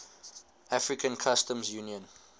african customs union